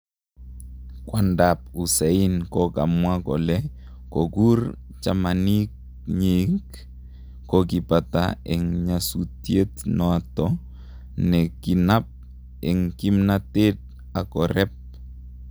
kwandap Hussain kokamwa kole kokur jamanik nyik kokipata en nyesutiet nato ne kinap en kimnatet ak koreep